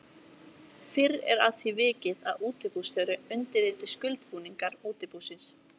Fyrr er að því vikið að útibússtjóri undirriti skuldbindingar útibúsins.